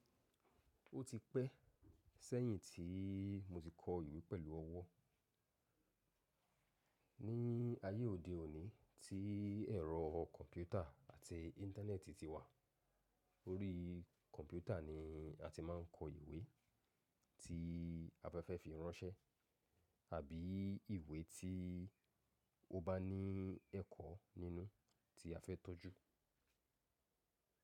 Ó ti pẹ́ sẹ́yìn tí mo ti kọ ìwé pẹ̀lú ọwọ́. Ní ayé òde òní tí ẹ̀rọ kọ̀mpútà àti Íńtánẹ́ẹ̀tì ti wà, orí kọ̀mpútà ni a ti máa ń kọ ìwé tí a fẹ́ fẹ́ fi ránṣẹ́ àbí ìwé tí ó bá ní ẹ̀kọ́ nínú tí a fẹ́ tọ́jú.